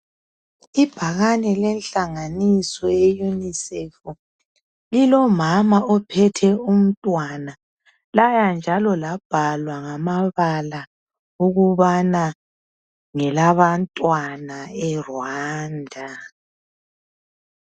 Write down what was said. Ibhakane lenhalanganiso yeyunisefu lilomama ophethe umntwana laya njalo labhalwa ngamabala ukubana ngelabantwana eRwanda.